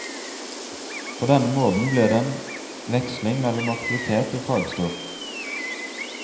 På denne måten blir det en veksling mellom aktivitet og fagstoff.